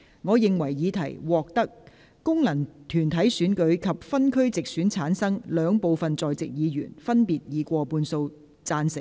我認為議題獲得經由功能團體選舉產生及分區直接選舉產生的兩部分在席議員，分別以過半數贊成。